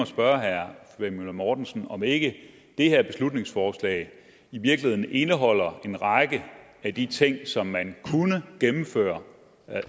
spørge herre flemming møller mortensen om ikke det her beslutningsforslag i virkeligheden indeholder en række af de ting som man sådan kunne gennemføre